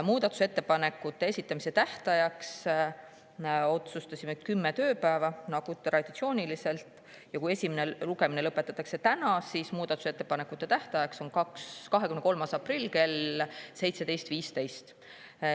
Muudatusettepanekute esitamise tähtajaks otsustasime kümme tööpäeva nagu traditsiooniliselt, ja kui esimene lugemine lõpetatakse täna, siis muudatusettepanekute tähtajaks on 23. aprill kell 17.15.